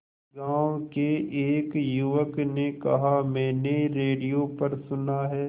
गांव के एक युवक ने कहा मैंने रेडियो पर सुना है